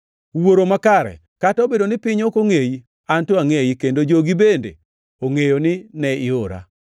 “Wuoro Makare, kata obedo ni piny ok ongʼeyi, an to angʼeyi, kendo jogi bende ongʼeyo ni ne iora.